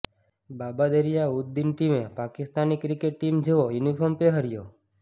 બાબા દરિયા ઉદ દિન ટીમે Pakistani cricket team જેવો uniform પહેર્યો